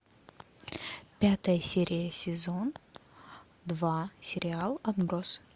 пятая серия сезон два сериал отбросы